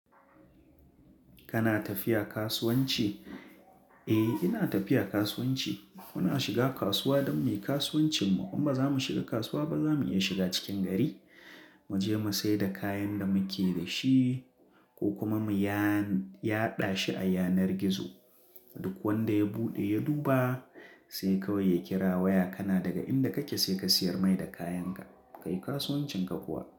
Kana tafiya kasuwanci? Eh ina tafiya kasuwanci. Muna shiga kasuwa don mu yi kasuwancinmu. In ba za mu shiga kasuwa ba, za mu iya shiga cikin gari, mu je mu sai da kayan da muke da shi ko kuma mu yaɗa shi a yanar gizo. Duk wanda ya buɗe ya duba, sai kawai ya kira waya. Kana daga inda kake sai ka siyar mai da kayanka. Kai kasuwancinka kuwa.